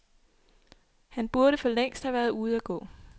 Han burde for længst have været ude at gå.